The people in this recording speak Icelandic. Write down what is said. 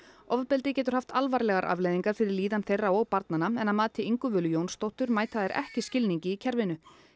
ofbeldið getur haft alvarlegar afleiðingar fyrir líðan þeirra og barnanna en að mati Ingu Völu Jónsdóttur mæta þær ekki skilningi í kerfinu